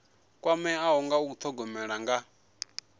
kwameaho nga u thogomela nga